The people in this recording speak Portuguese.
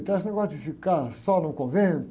Então esse negócio de ficar só num convento.